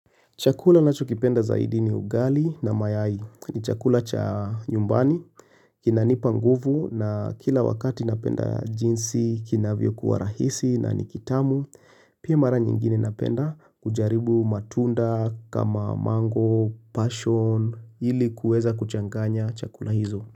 Chakula ninachokipenda zaidi ni ugali na mayai. Ni chakula cha nyumbani. Kinanipa nguvu na kila wakati napenda jinsi, kinavyo kuwa rahisi na nikitamu. Pia mara nyingine napenda kujaribu matunda kama mango, passion, ili kuweza kuchanganya chakula hizo.